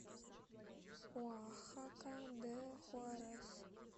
оахака де хуарес